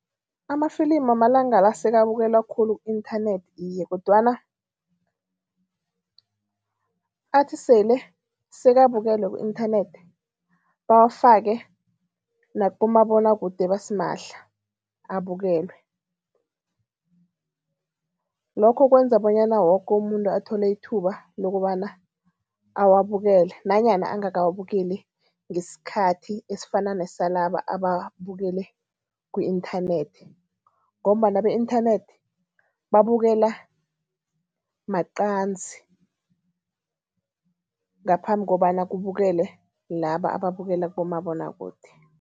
Amafilimi amalanga la sekabukelwa khulu ku-inthanethi iye, kodwana athi sele sekabukelwe ku-inthanethi bawafake nakibomabonwakude basimahla abukelwe. Lokho kwenza bonyana woke umuntu athole ithuba lokobana awabukele nanyana ungakawabukeli ngesikhathi esifana nesalaba ababukele ku-internet ngombana be-inthanethi babukela maqanzi, ngaphambi kobana kubukele laba ababukela kubomabonwakude.